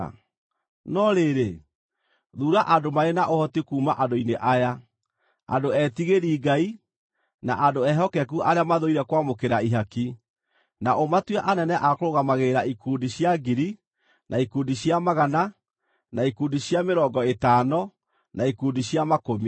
No rĩrĩ, thuura andũ marĩ na ũhoti kuuma andũ-inĩ aya, andũ etigĩri Ngai, na andũ ehokeku arĩa mathũire kwamũkĩra ihaki, na ũmatue anene a kũrũgamagĩrĩra ikundi cia ngiri, na ikundi cia magana, na ikundi cia mĩrongo ĩtano, na ikundi cia makũmi.